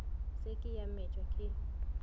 se ke a metšwa ke